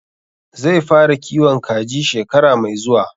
Zai fara kiwon kaji shekara mai zuwa